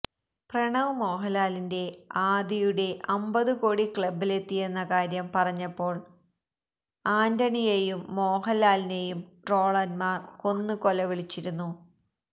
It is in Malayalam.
പ്രണവ് മോഹന്ലാലിന്റെ ആദിയുടെ അമ്പത് കോടി ക്ലബ്ബിലെത്തിയെന്ന കാര്യം പറഞ്ഞപ്പോള് ആന്റണിയെയും മോഹന്ലാലിനെയും ട്രോളന്മാര് കൊന്ന് കൊലവിളിച്ചിരുന്നു